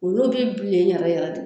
Olu bi bilen yɛrɛ yɛrɛ de